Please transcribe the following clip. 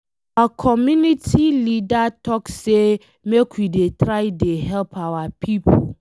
Our community leader talk say make we dey try dey help our people.